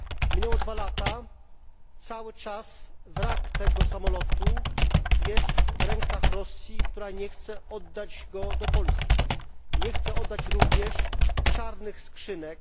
Minęły dwa lata, a wrak tego samolotu cały czas jest w rękach Rosji, która nie chce oddać go Polsce. Nie chce oddać również czarnych skrzynek.